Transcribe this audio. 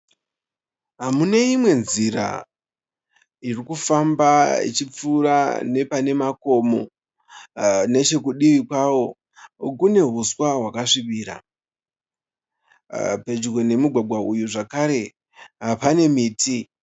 Muneimwe nzira irikufamba ichipfuura nepanemakomo. Nechekudivi kwawo kune huswa hwakasvibira. Pedyo nemugwagwa uyu zvekare panemiti.